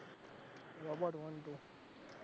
robot one two